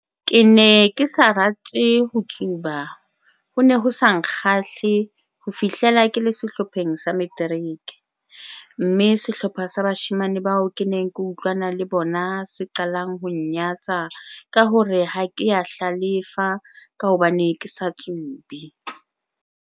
"Ke ne ke sa ho rate ho tsuba ho ne ho sa nkgahle ho fihlela ke le sehlopheng sa materiki, mme sehlopha sa bashemane bao ke neng ke utlwana le bona se qalang ho nnyatsa ka ho re ha ke a hla lefa ka hobane ke sa tsube."